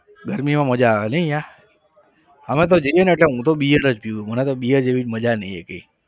ગરમી માં મજા આવે નહીં ત્યાં અમે તો જઈએ ને એટલે હું તો bear જ પીવું મને તો bear જેવી મજા નહિ એકેય.